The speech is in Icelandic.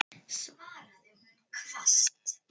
svaraði hún hvasst.